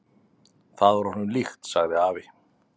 """Það var honum líkt, sagði afi."""